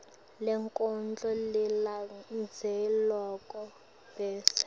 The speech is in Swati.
lenkondlo lelandzelako bese